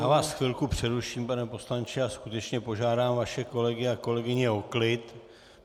Já vás chvilku přeruším, pane poslanče, a skutečně požádám vaše kolegy a kolegyně o klid.